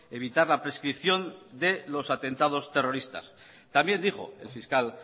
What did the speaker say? evitar la prescripción de los atentados terroristas también dijo el fiscal